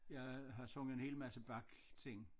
Jeg har sunget en hel masse Bach ting